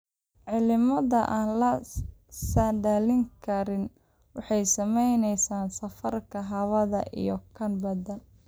Cimilada aan la saadaalin karin waxay saameyneysaa safarka hawada iyo kan badda.